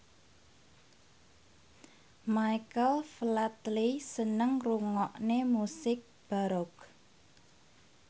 Michael Flatley seneng ngrungokne musik baroque